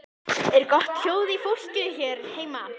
Er gott hljóð í fólki hér heima?